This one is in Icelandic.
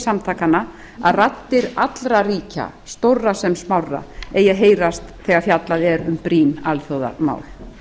samtakanna að raddir allra ríkja stórra sem smárra eigi að heyrast þegar fjallað er um brýn alþjóðamál